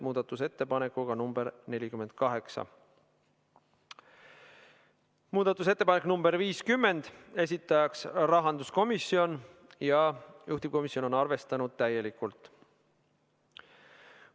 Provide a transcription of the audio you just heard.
Muudatusettepanek nr 50, esitajaks on rahanduskomisjon ja juhtivkomisjon on arvestanud seda täielikult.